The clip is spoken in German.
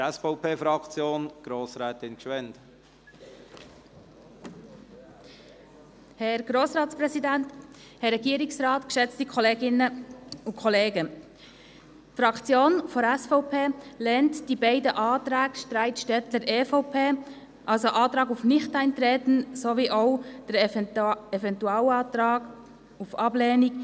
Die Fraktion der SVP lehnt die beiden Anträge StreitStettler, EVP, einstimmig ab, also den Antrag auf Nichteintreten sowie den Eventualantrag auf Ablehnung.